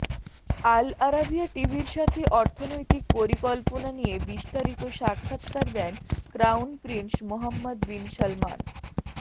আল Arabiya টিভির সাথে অর্থনৈতিক পরিকল্পনা নিয়ে বিস্তারিত সাক্ষাতকার দেন crown prince Mohammed bin Salman